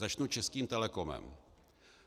Začnu Českým Telecomem.